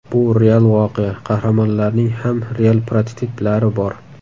Bu real voqea, qahramonlarning ham real prototiplari bor.